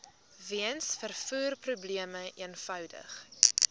weens vervoerprobleme eenvoudig